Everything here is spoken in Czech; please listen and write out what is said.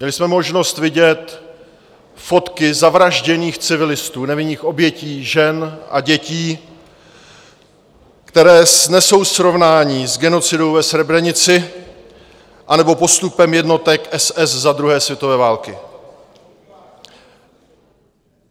Měli jsme možnost vidět fotky zavražděných civilistů, nevinných obětí, žen a dětí, které snesou srovnání s genocidou ve Srebrenici anebo postupem jednotek SS za druhé světové války.